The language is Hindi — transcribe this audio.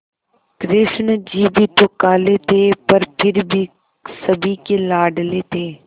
कृष्ण जी भी तो काले थे पर फिर भी सभी के लाडले थे